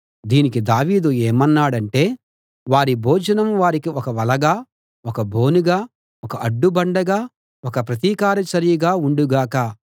దీనికి దావీదు ఏమన్నాడంటే వారి భోజనం వారికి ఒక వలగా ఒక బోనుగా ఒక అడ్డుబండగా ఒక ప్రతీకార చర్యగా ఉండు గాక